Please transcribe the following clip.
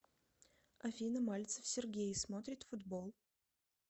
афина мальцев сергей смотрит футбол